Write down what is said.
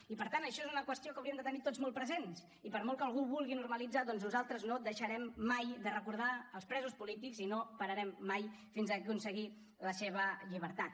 i per tant això és una qüestió que hauríem de tenir tots molt present i per molt que algú ho vulgui normalitzar doncs nosaltres no deixarem mai de recordar els presos polítics i no pararem mai fins a aconseguir la seva llibertat